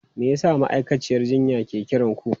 Me yasa ma'aikaciyar jinya ke kiran ku?